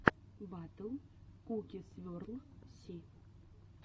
батл куки сверл си